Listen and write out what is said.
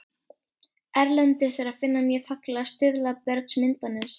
Erlendis er að finna mjög fallegar stuðlabergsmyndanir.